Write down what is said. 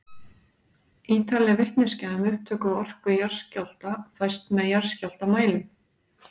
Ýtarleg vitneskja um upptök og orku jarðskjálfta fæst með jarðskjálftamælum.